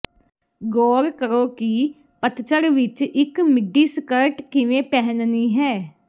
ਗੌਰ ਕਰੋ ਕਿ ਪਤਝੜ ਵਿੱਚ ਇੱਕ ਮਿਡੀ ਸਕਰਟ ਕਿਵੇਂ ਪਹਿਨਣੀ ਹੈ